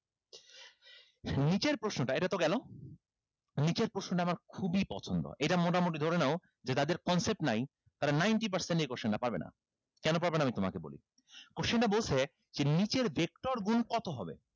নিচের প্রশ্নটা এটাতো গেলো নিচের প্রশ্নটা আমার খুবই পছন্দ এটা মোটামুটি ধরে নাও যে যাদের concept নাই তারা ninty percent এই question টা পারবেনা কেন পারবেনা আমি তোমাকে বলি question টা বলছে যে নিচের vector গুন কত হবে